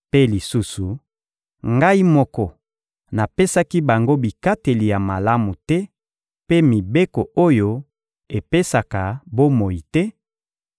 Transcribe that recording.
Mpe lisusu, Ngai moko napesaki bango bikateli ya malamu te mpe mibeko oyo epesaka bomoi te,